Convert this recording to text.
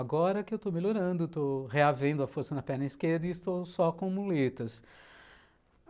Agora que eu estou melhorando, estou reavendo a força na perna esquerda e estou só com muletas.